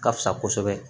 Ka fisa kosɛbɛ